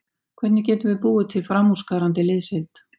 Hvernig getum við búið til framúrskarandi liðsheild?